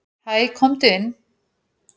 """Hæ, komdu inn."""